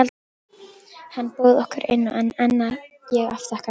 Hann bauð okkur inn, en ég afþakkaði.